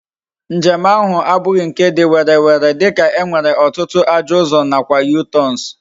Njem ahu abughi nke di werere dika e nwere otutu ajo uzo na kwa U-turns